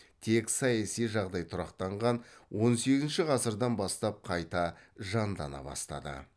тек саяси жағдай тұрақтанған он сегізінші ғасырдан бастап қайта жандана бастады